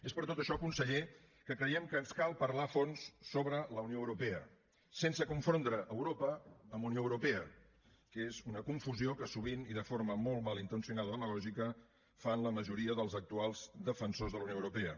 és per tot això conseller que creiem que ens cal parlar a fons sobre la unió europea sense confondre europa amb unió europea que és una confusió que sovint i de forma molt malintencionada i demagògica fan la majoria dels actuals defensors de la unió europea